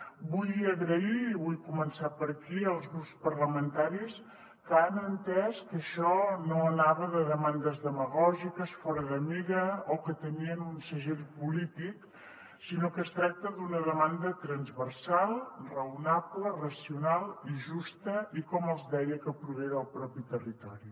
vull donar les gràcies i vull començar per aquí als grups parlamentaris que han entès que això no anava de demandes demagògiques fora de mida o que tenien un segell polític sinó que es tracta d’una demanda transversal raonable racional i justa i com els deia que prové del propi territori